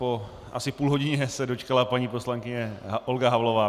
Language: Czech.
Po asi půl hodině se dočkala paní poslankyně Olga Havlová.